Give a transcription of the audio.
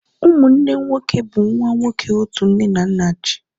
ụmụnne nwoke bụ nwa nwoke otu nne na nna ji